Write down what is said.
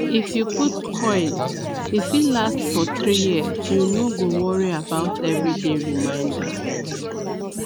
if you put coil e fit last for 3yrs u no go worry about everyday reminder